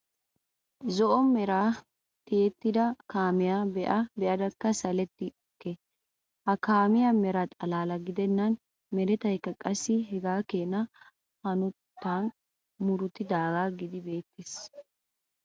Zo'o meran tiyetida kaamiyaa be'aa be'adakka saletta beyke. Ha kaamiyawu meraa xalaala gidennan meretaykka qassi hegaadankka hanotetaykka murutidaagaa gididi beettees.